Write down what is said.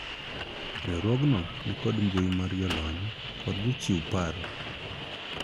riwruogno nikod mbui mar jolony kod jochiw paro